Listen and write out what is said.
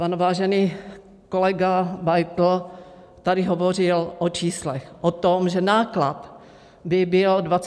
Pan vážený kolega Beitl tady hovořil o číslech, o tom, že náklad by byl 28 miliard.